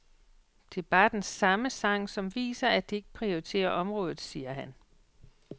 Det er bare den samme sang som viser, at de ikke prioriterer området, siger han.